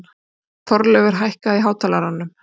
Þorleifur, hækkaðu í hátalaranum.